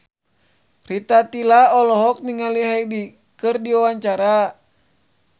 Rita Tila olohok ningali Hyde keur diwawancara